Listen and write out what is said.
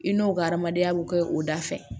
I n'o ka adamadenya bɛ kɛ o da fɛ